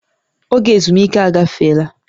Oge ezumike agafeela